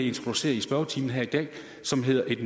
introducere i spørgetimen her i dag som hedder et